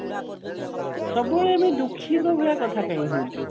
ସବୁବେଳେ ଦୁଖୀ ରହିବା କଥା କଣ କହୁଛୁ